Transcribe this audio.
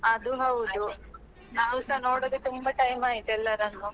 ಅದು ಹೌದು ನಾವುಸ ನೋಡದೆ ತುಂಬಾ time ಆಯ್ತು ಎಲ್ಲರನ್ನೂ.